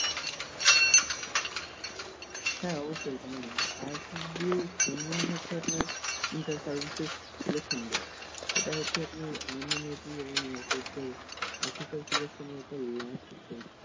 হ্যা অবশ্যই কেন না ISSB এর full meaning হচ্ছে আপনার inter services selection board এটা হচ্ছে আপনার army navy and air force এর office selection এর একটা last stage